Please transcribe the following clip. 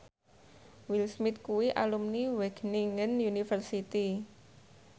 Will Smith kuwi alumni Wageningen University